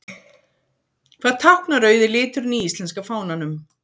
Hvað táknar rauði liturinn í íslenska fánanum?